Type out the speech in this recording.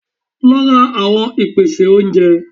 Lo ra àwon ìpèsè oúnje